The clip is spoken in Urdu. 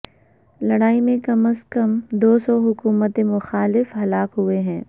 لڑائی میں کم از کم دو سو حکومت مخالف ہلاک ہوئے ہیں